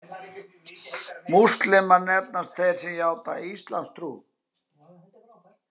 Múslímar nefnast þeir sem játa íslamstrú.